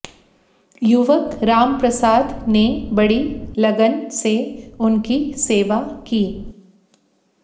युवक रामप्रसाद ने बड़ी लगन से उनकी सेवा की